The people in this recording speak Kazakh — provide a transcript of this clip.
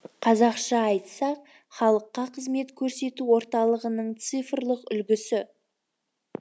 қазақша айтсақ халыққа қызмет көрсету орталығының цифрлық үлгісі